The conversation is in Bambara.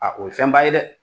A o ye fɛn ba ye dɛ